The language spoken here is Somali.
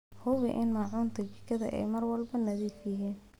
Hubi in maacuunta jikada ay mar walba nadiif yihiin.